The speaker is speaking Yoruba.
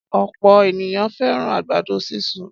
Ọ̀pọ̀ ènìyàn fẹ́ràn àgbàdo sísun.